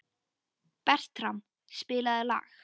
Bertram, spilaðu lag.